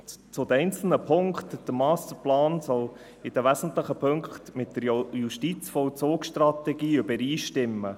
Zu den einzelnen Punkten: Der Masterplan soll in den wesentlichen Punkten mit der JVS übereinstimmen.